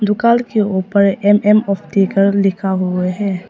दुकान के ऊपर एम_एम ऑप्टिकल लिखा हुए है।